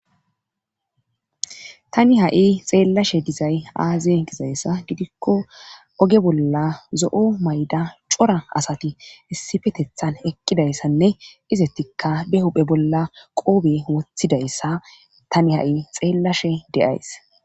Tani ha'i xeellashe dizay aaze gizayssa gidikko oge bolla zo'o mayda cora asati issifetethan eqqidayssanne izettikka de huphe bolla qoobe woothidayssa tani ha7i xeellashe deays.